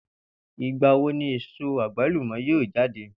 Ìgbà wo ni èso àgbàlùmò̩ yóò j́áde?